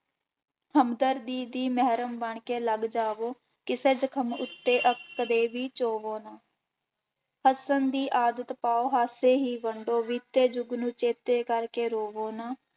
ਹਮਦਰਦੀ ਦੀ ਮਿਹਰਮ ਬਣਕੇ ਲੱਗ ਜਾਵੋ ਕਿ ਸਿਦਕਮ ਉੁੱਤੇ ਅੱਕ ਕਦੇ ਵੀ ਚੋਵੋ ਨਾ ਹੱਸਣ ਦੀ ਆਦਤ ਪਾਓ ਹਾਸੇ ਹੀ ਬਣ ਜਾਓ, ਬੀਤੇ ਜੁਗ ਨੂੰ ਚੇਤੇ ਕਰਕੇ ਰੋਵੋ ਨਾ।